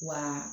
Wa